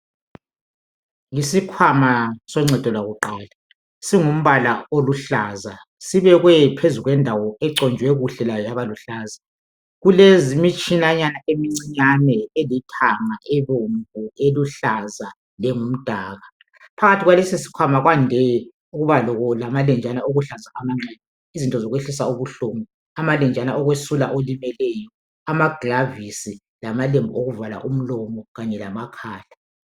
Yisikhwama soncedo lwakuqala. Singumbala oluhlaza. Sibekwe phezu kwendawo, econjwe kuhle layo, yaba luhlaza. Kulemitshinyanyana emincinyane. Elithanga, ebomvu, eluhlaza, lengumdaka. Phakathi kwalesisikhwama kwande ukuba lamalenjana okuhlanza amanxeba. Izinto zokwehlisa ubuhlungu. Amalenjana okwesula olimeleyo, amaglavisi. Lamalembu okuvala umlomo, kanye lamakhala.